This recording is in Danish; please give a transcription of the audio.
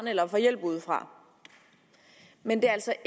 eller får hjælp udefra men det er altså